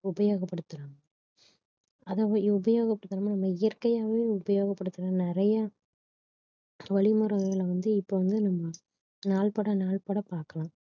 உபயோகப்படுத்துறாங்க அதாவது உபயோகப்படுத்தற இயற்கையாகவே உபயோகப்படுத்தற மாதிரி நிறைய வழிமுறைகள வந்து இப்ப வந்து நம்ம நாள் பட நாள் பட பார்க்கலாம்